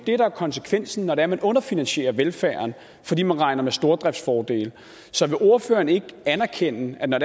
er konsekvensen når det er man underfinansierer velfærden fordi man regner med stordriftsfordele så vil ordføreren ikke erkende at når